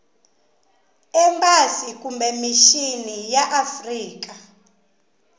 embasi kumbe mixini ya afrika